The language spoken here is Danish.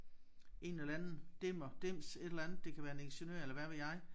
En eller anden dimmer dims et eller andet det kan være en ingeniør eller hvad ved jeg